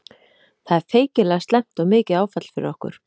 Það er feikilega slæmt og mikið áfall fyrir okkur.